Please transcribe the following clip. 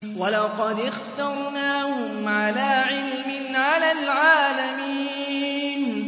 وَلَقَدِ اخْتَرْنَاهُمْ عَلَىٰ عِلْمٍ عَلَى الْعَالَمِينَ